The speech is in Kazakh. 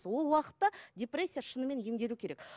ол уақытта депрессия шынымен емделу керек